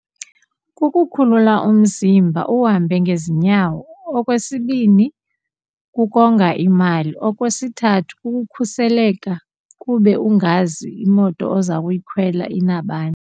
Kukukhulula umzimba uhambe ngezinyawo, okwesibini kukonga imali, okwesithathu kukukhuseleka kube ungazi imoto oza kuyikhwela inabani.